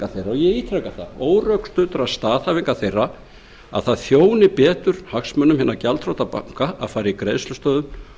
þeirra og ég ítreka það órökstuddra staðhæfinga þeirra um að það þjóni betur hagsmunum hinna gjaldþrota banka að fara í greiðslustöðvun